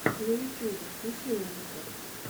на ютюбе включи музыка